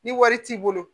Ni wari t'i bolo